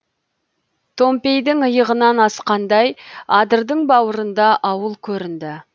томпейдің иығынан асқандай адырдың бауырында ауыл көрінді